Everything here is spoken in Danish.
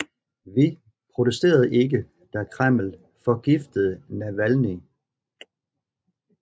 Vi protesterede ikke da Kreml forgiftede Navalnyj